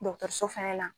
dɔgɔtɔrɔso fɛnɛ na